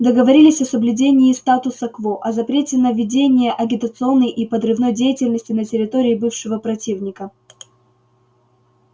договорились о соблюдении статуса-кво о запрете на ведение агитационной и подрывной деятельности на территории бывшего противника